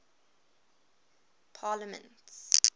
parliaments